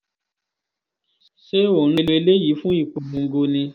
ṣé ò ń lo eléyìí fún ìpolongo ni